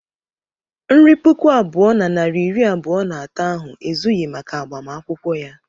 Nri puku abụọ na narị iri abụọ na atọ ahụ ezughị maka agbamakwụkwọ ya.